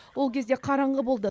ол кезде қараңғы болды